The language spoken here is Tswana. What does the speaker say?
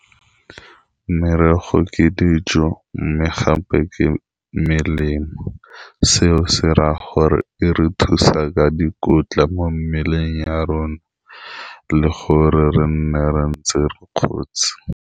Merogo ke dijo mme gape ke melemo seo se raya gore e re thusa ka dikotla mo mmeleng ya rona, le gore re nne re ntse re kgotse.